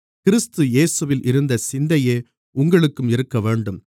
கிறிஸ்து இயேசுவில் இருந்த சிந்தையே உங்களுக்கும் இருக்கவேண்டும்